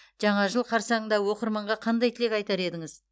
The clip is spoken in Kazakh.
жаңа жыл қарсаңында оқырманға қандай тілек айтар едіңіз